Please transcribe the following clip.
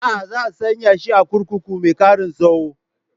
A'a, za a sanya shi a kurkuku mai ƙaran tsaro